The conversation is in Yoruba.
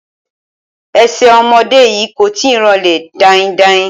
Ẹsẹ̀ ọmọdé yìí kò tíì ranlẹ̀ daindain